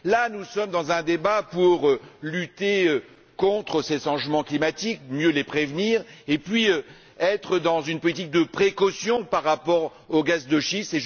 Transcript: Là, nous sommes dans un débat pour lutter contre ces changements climatiques, mieux les prévenir, et être dans une politique de précaution par rapport aux gaz de schiste.